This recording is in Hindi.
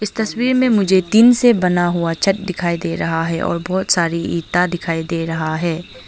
तस्वीर में मुझे टीन से बना हुआ छत दिखाई दे रहा है और बहुत सारी ईंटा दिखाई दे रहा है।